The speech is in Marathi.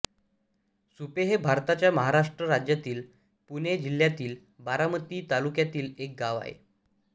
सुपे हे भारताच्या महाराष्ट्र राज्यातील पुणे जिल्ह्यातील बारामती तालुक्यातील एक गाव आहे